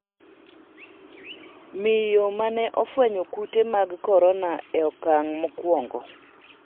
miyo mane ofwenyo kute mag korona e okang' mokwongo